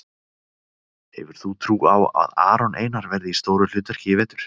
Hefur þú trú á að Aron Einar verði í stóru hlutverki í vetur?